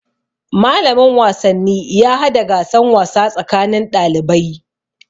Malamin wasanni ya hada gasan wasa tsakanin ɗalibai.